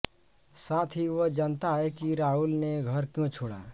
साथ ही वह जानता है कि राहुल ने घर क्यों छोड़ा